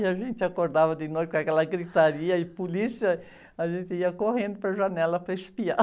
E a gente acordava de noite com aquela gritaria e polícia, a gente ia correndo para a janela para espiar.